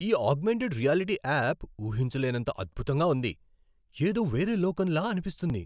ఈ augmented reality app ఊహించలేనంత అద్భుతంగా ఉంది. ఏదో వేరే లోకంలా అనిపిస్తుంది.